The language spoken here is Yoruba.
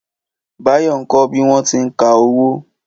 Báyọ̀ ń kọ bí wọ́n ti ń ka owó